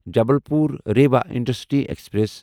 Jabalpur Rewa intercity express